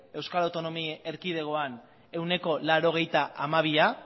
euskal autonomi erkidegoan ehuneko laurogeita hamabiak